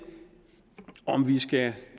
om vi skal